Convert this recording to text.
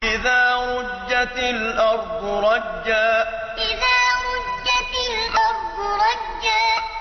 إِذَا رُجَّتِ الْأَرْضُ رَجًّا إِذَا رُجَّتِ الْأَرْضُ رَجًّا